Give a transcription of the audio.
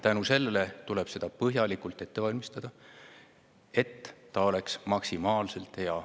Ja seetõttu tuleb seda põhjalikult ette valmistada, et see oleks maksimaalselt hea.